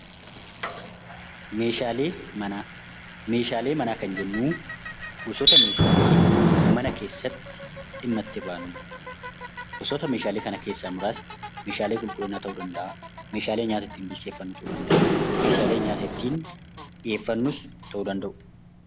Meeshaalee manaa Meeshaalee manaa kan jennu, gosoota Meeshaalee mana keessatti dhimma itti baanudha. Gosoota Meeshaalee keessaa muraasni Meeshaalee qulqulliinaa ta'uu danda'a, Meeshaalee nyaata ittiin bilcheeffannu ta'uu danda'a, Meeshaalee nyaata ittiin dhiheeffannus ta'uu danda'u.